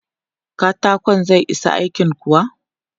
Katakon zai isa aikin kuwa?